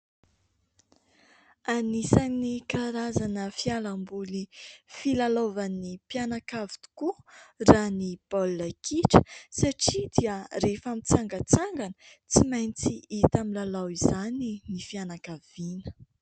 Anisan'ny karazana fialamboly filalaovan'ny mpianakavy tokoa raha ny baolina kitra satria dia rehefa mitsangantsangana tsy maintsy hita milalao izany ny fianakaviana.